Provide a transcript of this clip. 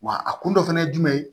Wa a kun dɔ fɛnɛ ye jumɛn ye